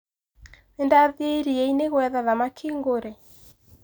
Ndathie iria-inĩ ngũetha thamaki ngũre.